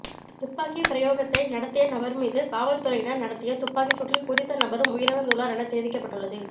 துப்பாக்கிப் பிரயோகத்தை நடத்திய நபர் மீது காவல்துறையினர் நடத்திய துப்பாக்கிச் சூட்டில் குறித்த நபரும் உயிரிழந்துள்ளார் என தெரிவிக்கப்பட்டுள்ளது